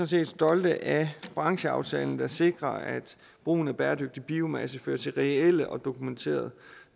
set stolte af brancheraftalen der sikrer at brugen af bæredygtig biomasse fører til reelle og dokumenterede